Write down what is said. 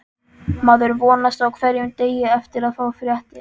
Maður vonast á hverjum degi eftir að fá fréttir.